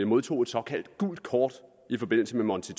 modtog et såkaldt gult kort i forbindelse med monti